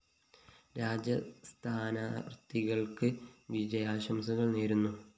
രാജ സ്ഥാനാര്‍ത്ഥികള്‍ക്ക് വിജയാശംസകള്‍ നേര്‍ന്നു